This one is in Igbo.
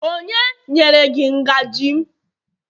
onye nyere gi ngaji m?